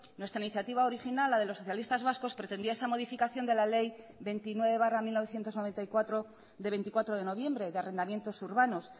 nuestra iniciativa original la de los socialistas vascos pretendía esta modificación de la ley veintinueve barra mil novecientos noventa y cuatro de veinticuatro de noviembre de arrendamientos urbanos